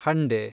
ಹಂಡೆ